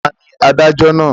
Ta ni adájọ́ náà.